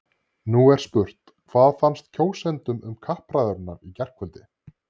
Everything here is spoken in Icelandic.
Nú er spurt, hvað fannst kjósendum um kappræðurnar í gærkvöld?